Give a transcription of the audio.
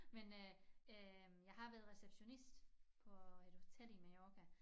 Men øh øh jeg har været receptionist på et hotel i Mallorca